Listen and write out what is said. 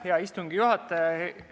Hea istungi juhataja!